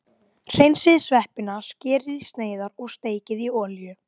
Hreinsið sveppina, skerið í sneiðar og steikið í olíu.